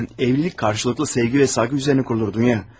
Evlilik qarşılıqlı sevgi və hörmət üzərinə qurulur Dunya.